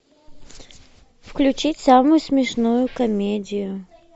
включить самую смешную комедию